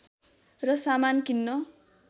र सामान किन्न